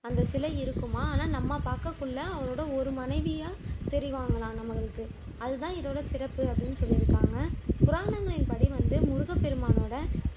அந்த சிலை இருக்குமாம் ஆனா நம்ம பாக்க அவரோட ஒரு மனைவியா தெரிவாங்கலாம் நம்மளுக்கு அதுதான் இதோட சிறப்பு அப்படின்னு சொல்லிருக்காங்க புராணங்களின்படி வந்து முருகப்பெருமானோட